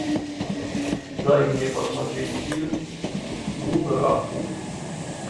дай мне посмотреть фильм бунраку